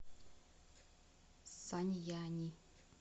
саньяни